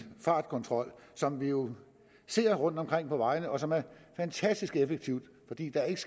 fartkontrol som vi jo ser rundtomkring på vejene og som er fantastisk effektiv fordi der ikke